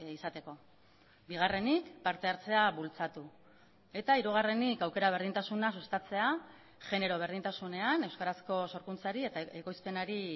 izateko bigarrenik partehartzea bultzatu eta hirugarrenik aukera berdintasuna sustatzea genero berdintasunean euskarazko sorkuntzari eta ekoizpenari